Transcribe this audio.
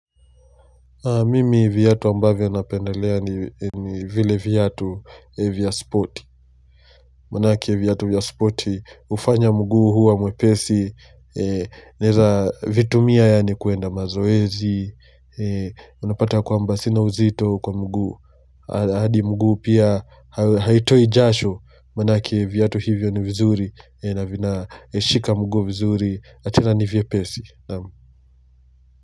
Mimi viatu ambavyo napendelea ni vile viatu vya sporti. Maanake viatu vya sporti hufanya mguu huwa mwepesi Naeza vitumia yani kuenda mazoezi Unapata kwamba sina uzito kwa mguu hadi mguu pia haitoi jasho manake viyatu hivyo ni vizuri na vinashika mguu vizuri na tena ni vyepesi naam.